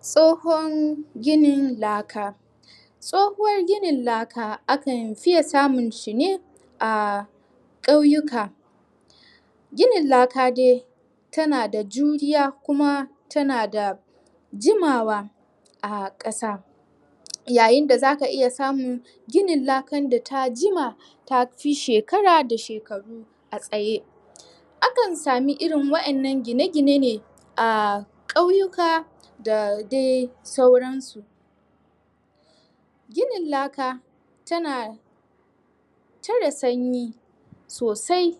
Tsohon ginin laka Tsohuwar ginin laka akan fiye samun shi ne A ƙauyuka Ginin laka dai Tana da juriya kuma tana da Jimawa A ƙasa Yayin da zaka iya samin ginin lakan da ta jima, ta fi shekara da shekaru a tsaye Akan samu irin waɗannan gine gine ne a ƙauyuka da dai sauran su Ginin laka tana Tarre sanyi sosai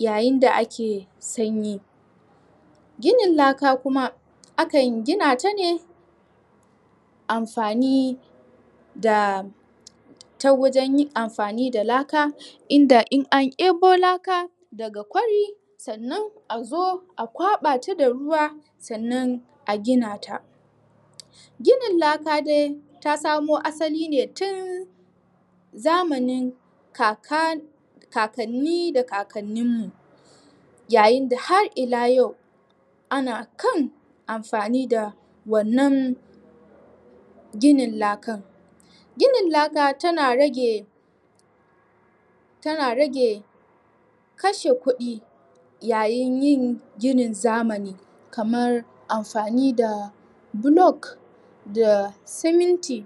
Yayin da ake sanyi Ginin laka kuma, akan gina ta ne Amfani da Ta wajen yin amfani da laka, inda in an ebo laka Daga kwari, sannan a zo a kwaɓa ta da ruwa, sannan a gina ta Ginin laka dai ta samo asali ne tun Zamanin kaka... kakanni da kakannin mu Yayin da har ila yau Ana kan amfani da wannan Ginin lakan Ginin laka tana rage Tana rage kashe kuɗi Yayin yin ginin zamani, kamar amfani da block da siminti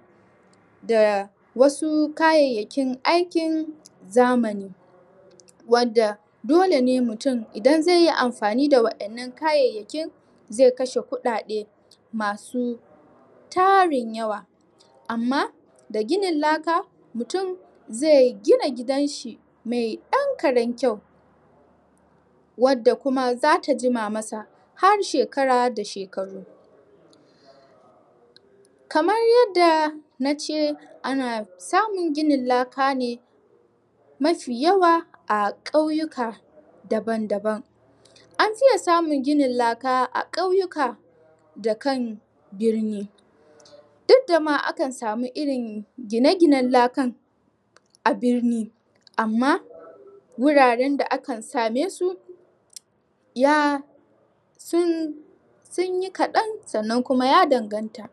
Da wasu kayyakin aikin zamani Wanda Dole ne mutum, idan zaiyi amafani da waɗannan kayayakin Zai kashe kuɗaɗe masu Tarin yawa, amma da ginin laka, mutum zai gina gidan shi mai ɗan karen kyau Wadda kuma zata jima masa har da shekara da shekaru Kamar yadda nace ana samun ginin laka ne Mafi yawa a ƙauyuka daban daban An fiye samun ginin laka a ƙauyuka Da kan birni Duk da ma akan samu irin gine ginen lakan A birni amma wuraren da akan same su Ya Sun...sun yi kaɗan sannan kuma ya danganta.